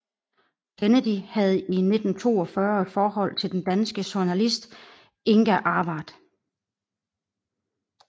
Kennedy havde i 1942 et forhold til den danske journalist Inga Arvad